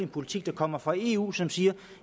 politik der kommer fra eu som siger